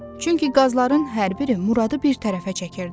Çünki qazların hər biri Muradı bir tərəfə çəkirdi.